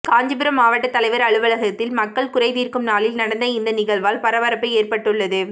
காஞ்சிபுரம் மாவட்ட தலைவர் அலுவலகத்தில் மக்கள் குறை தீர்க்கும் நாளில் நடந்த இந்த நிகழ்வால் பரபரப்பு ஏற்பட்டுள்ளது